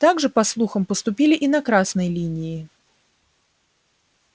так же по слухам поступили и на красной линии